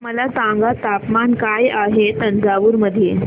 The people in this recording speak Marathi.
मला सांगा तापमान काय आहे तंजावूर मध्ये